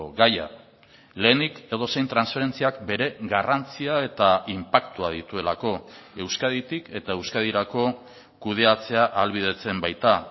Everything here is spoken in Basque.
gaia lehenik edozein transferentziak bere garrantzia eta inpaktua dituelako euskaditik eta euskadirako kudeatzea ahalbidetzen baita